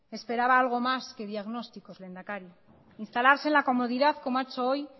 esperaba algo más que diagnósticos lehendakari instalarse en la comodidad como ha hecho hoy